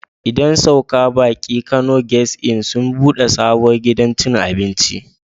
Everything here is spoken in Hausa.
Idan saukar baki Kano guest Inn sun ɓude sabon gidan cin abinci.